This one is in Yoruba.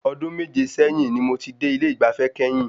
Ọdún méje sẹ́yìn ni mo dé ilé ìgbafẹ́ kẹ́yìn.